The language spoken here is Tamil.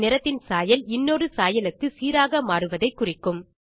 ஒரு நிறத்தின் சாயல் இன்னொரு சாயலுக்கு சீராக மாறுவதை குறிக்கும்